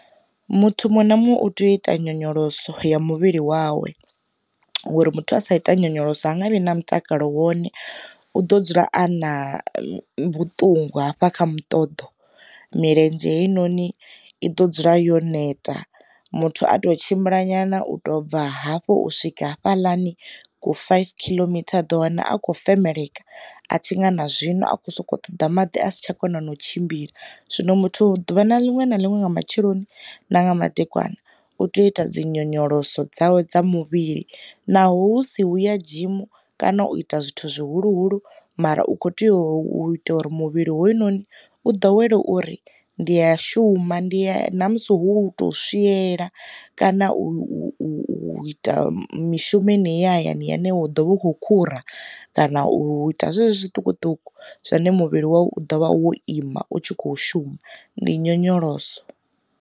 Muthu muṅwe na muṅwe u tea u ita nyonyoloso ya muvhili wawe, ngori muthu a sa ita nyonyoloso ha nga vhi na mutakalo wone u ḓo dzula a na vhuṱungu hafha kha mutodo, milenzhe heinoni i ḓo dzula yo neta muthu a to tshimbilanyana u to bva hafhu u swika fhalani ku five khiḽomitha u ḓo wana a khou femeleka swika a tshi nga na zwino a kho soko ṱoḓa maḓi a si tsha kona na u tshimbila. Zwino muthu ḓuvha linwe na linwe nga matsheloni na nga madekwana, u tea u ita dzi nyonyoloso dzawe dza muvhili naho hu si hu ya dzhimu kana u ita zwithu zwihuluhulu mara u kho tea u ita uri muvhili hoyunoni u ḓowela uri, ndi ya shuma ndi ya namusi hu tou swiela, kana u u u ita mishumoni heneyi ya hayani une wa ḓo vha u kho khura kana u ita zwezwo zwiṱukuṱuku zwine muvhili wavho u ḓovha wo ima u tshi kho shuma ndi nyonyoloso.